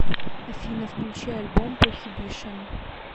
афина включи альбом прохибишн